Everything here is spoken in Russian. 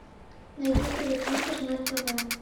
найди тв центр на тв